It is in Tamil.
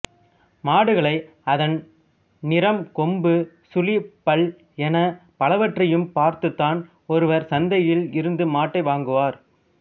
மாடுகளை அதன் நிறம் கொம்பு சுழி பல் எனப் பலவற்றையும் பார்த்துத்தான் ஒருவர் சந்தையில் இருந்து மாட்டை வாங்குவார்